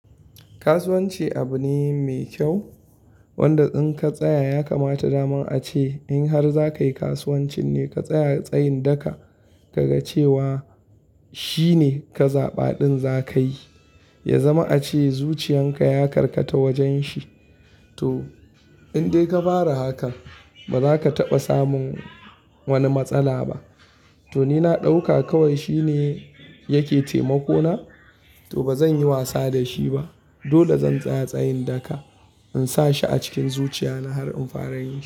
Kasuwanci abu ne mai kyau wanda in ka tsaya ya kamata, dama ace in har za ka yi kasuwanci ne, ka tsaya tsayin daka ka ga cewa shine ka zaɓaɗin za ka yi, ya zama ace zuciyan ka ya karkata wajen shi. To in dai ka fara haka, ba za ka taɓa samun wani matsala ba. To ni na ɗauka kawai shi ne yake taimako na, to ba zan yi wasa da shi ba. Dole zan tsaya tsayin daka in sa shi a cikin zuciya na har in fara yin shi.